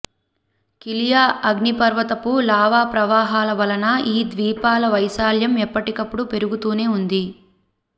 కిలియా అగ్నిపర్వతపు లావా ప్రవాహాల వలన ఈ ద్వీపాల వైశాల్యం ఎప్పటికప్పుడు పెరుగుతూనే ఉంది